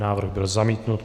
Návrh byl zamítnut.